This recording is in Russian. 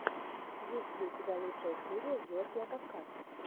есть ли у тебя лучшая серия георгия кавказ